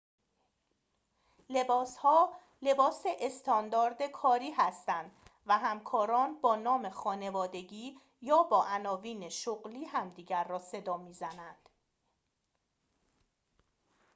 لباس ها لباس استاندارد کاری هستند و همکاران با نام خانوادگی یا با عناوین شغلی همدیگر را صدا می‌زنند